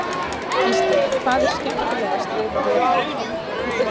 Gísli: Hvað er skemmtilegast við að vera hér?